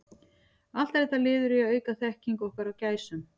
Allt er þetta liður í að auka þekkingu okkar á gæsum.